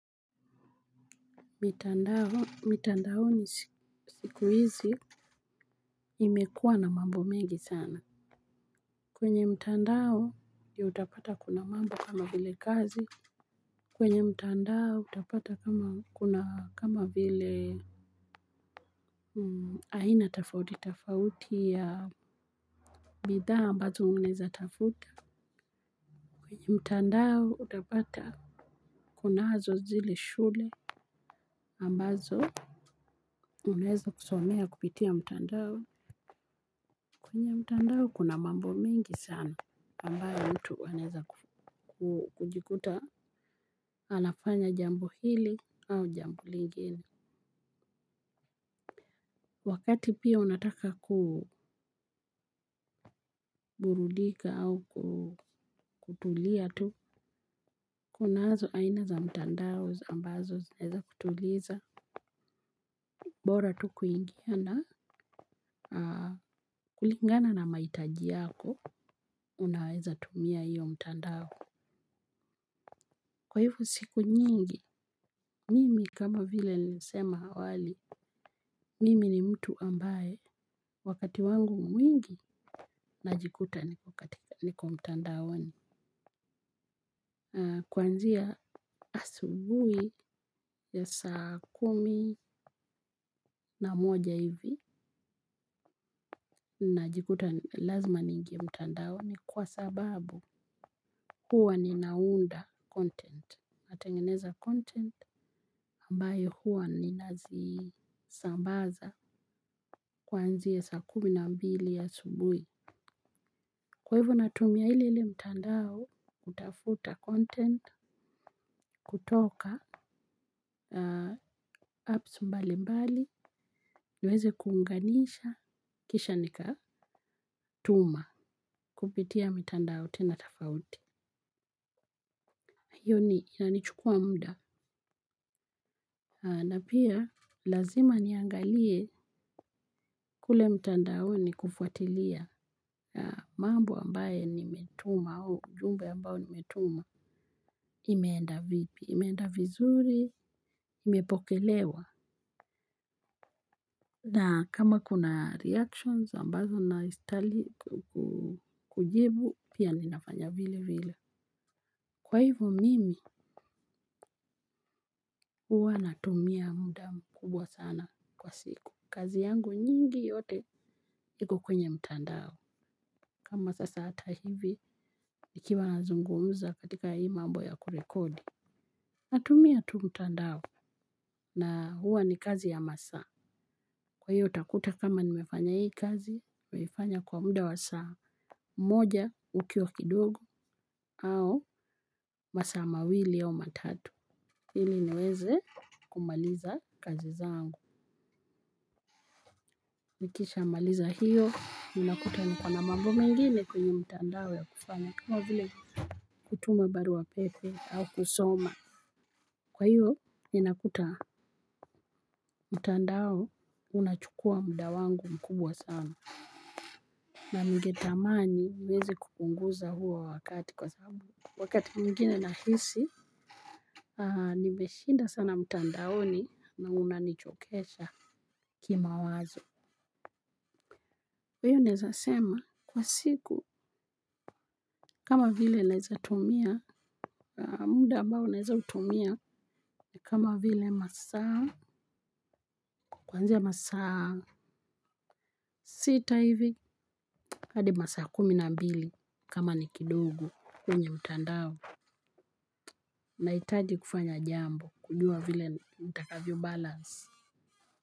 Mitandaoni siku hizi imekuwa na mambo mengi sana. Kwenye mtandao ndio utapata kuna mambo kama vile kazi. Kwenye mtandao utapata kama kuna kama vile aina tafauti tafauti ya bidhaa ambazo unaeza tafuta. Kwenye mtandao utapata kuna nazo zile shule ambazo unaeza kusomea kupitia mtandao kwenye mtandao kuna mambo mingi sana ambayo mutu anaeza kujikuta anafanya jambo hili au jambo lingine. Wakati pia unataka kuburudika au kutulia tu. Kunazo aina za mtandao ambazo zinaeza kutuliza. Bora tu kuingia na kulingana na mahitaji yako unaeza tumia hiyo mtandao. Kwa hivo siku nyingi, mimi kama vile nilisema awali, mimi ni mtu ambaye wakati wangu mwingi najikuta niko katika, niko mtandaoni. Kwanzia asubuhi ya saa kumi na moja hivi, najikuta lazima niingie mtandaoni kwa sababu huwa ninaunda content, natengeneza content ambayo huwa nina zisambaza. Kuanzia saa kumi na mbili asubui kwa hivo natumia ile ile mtandao, kutafuta content, kutoka, apps mbali mbali, niweze kuunganisha, kisha nikatuma, kupitia mitandao tena tafauti. Hiyo ni, inanichukuwa mda. Na pia, lazima niangalie kule mtandaoni kufuatilia mambo ambaye nimetuma au ujumbe ambao nimetuma. Imeenda vipi, imeenda vizuri, imepokelewa. Na kama kuna reactions ambazo nastahili kujibu pia ninafanya vile vile huwa natumia muda mkubwa sana kwa siku, kazi yangu nyingi yote iko kwenye mtandao. Kama sasa ata hivi, nikiwa nazungumuza katika hii mambo ya kurekodi. Natumia tu mtandao na huwa ni kazi ya masaa. Kwa hiyo utakuta kama nimefanya hii kazi nimeifanya kwa muda wa saa moja ukiwa kidogo au masaa mawili au matatu ili niweze kumaliza kazi zangu. Nikisha maliza hiyo unakuta niko na mambo mengine kwenye mtandao ya kufanya kama vile kutuma baruwa pepe au kusoma. Kwa hiyo ni nakuta mtandao unachukuwa muda wangu mkubwa sana. Na ninge tamani niwezi kupunguza huo wakati kwa sababu wakati mwingine na hisi nimeshinda sana mtandaoni na una nichokesha. Kima wazo kwa hiyo naeza sema kwa siku kama vile naeza tumia muda ambao naeza utumia kama vile masaa kwanzia masaa sita hivi hadi masaa kumi na mbili. Kama nikidogo kwenye mtandao. Nahitaji kufanya jambo kujuwa vile nitakavyo balansi.